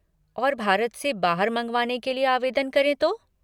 और भारत से बाहर मँगवाने के लिए आवेदन करें तो?